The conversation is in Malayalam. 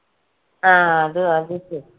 ആ അത് അത് ശരി